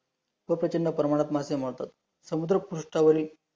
समुद्र फास्तावरी